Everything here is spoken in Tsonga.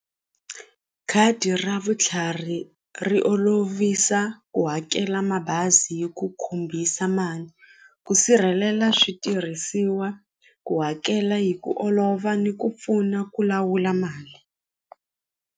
Khadi ra vutlhari ri olovisa ku hakela mabazi hi ku khumbisa mali ku sirhelela switirhisiwa ku hakela hi ku olova ni ku pfuna ku lawula mali.